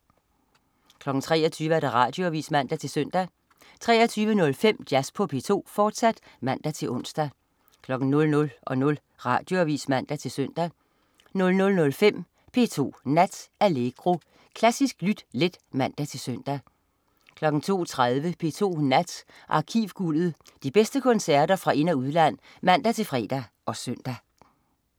23.00 Radioavis (man-søn) 23.05 Jazz på P2, fortsat (man-ons) 00.00 Radioavis (man-søn) 00.05 P2 Nat. Allegro. Klassisk lyt let (man-søn) 02.30 P2 Nat. Arkivguldet. De bedste koncerter fra ind- og udland (man-fre og søn)